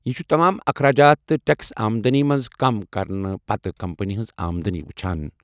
یہِ چھُ تمام اخراجات تہٕ ٹیکٔس آمدٕنی منٛز کم کرنہٕ پتہٕ کمپنی ہٕنٛزِ آمدٕنی ؤچھان۔